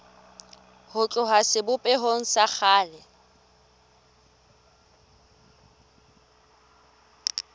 ho tloha sebopehong sa kgale